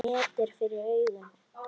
Net er fyrir augum.